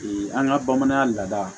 an ka bamanan laada